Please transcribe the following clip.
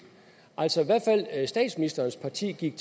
altså statsministerens parti gik